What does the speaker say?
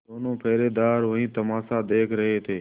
दोनों पहरेदार वही तमाशा देख रहे थे